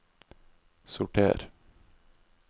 sorter